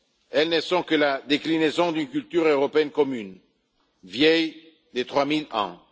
Elles ne sont que la déclinaison d'une culture européenne commune, vieille de trois mille ans.